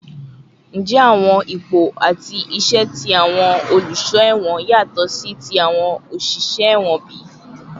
Njẹ awọn ipo ati iṣẹ ti awọn oluṣọ ẹwọn yatọ si ti awọn oṣiṣẹ ẹwọn bi?